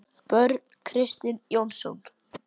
Börn: Kristinn Jónsson?